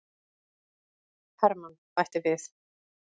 Hermann bætti við.